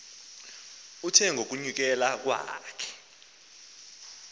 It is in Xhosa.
uthe ngokunyukela kwakhe